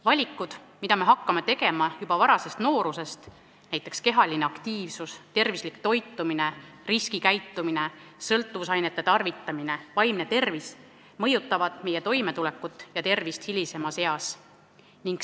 Valikud, mida me hakkame tegema juba varases nooruses, näiteks kehaline aktiivsus, tervislik toitumine, riskikäitumine, sõltuvusainete tarvitamine, vaimne tervis, mõjutavad meie toimetulekut ja tervist hilisemas eas.